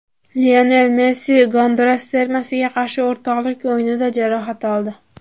Lionel Messi Gonduras termasiga qarshi o‘rtoqlik o‘yinida jarohat oldi.